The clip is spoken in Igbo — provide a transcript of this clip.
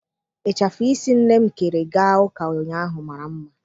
Ịchafụ isi nne m kere gaa ụka ụnyaahụ mara mma.